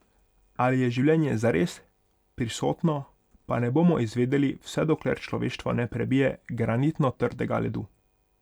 Ali je življenje zares prisotno, pa ne bomo izvedeli, vse dokler človeštvo ne prebije granitno trdega ledu.